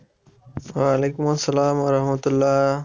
ওয়ালাইকুম আসসালাম রাহমাতুল্লাহ